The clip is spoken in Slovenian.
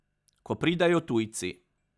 Ko pridejo tujci.